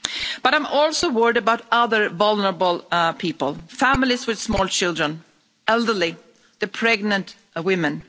But I'm also worried about other vulnerable people families with small children, the elderly and pregnant women.